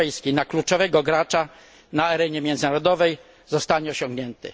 na kluczowego gracza na arenie międzynarodowej, zostanie osiągnięty.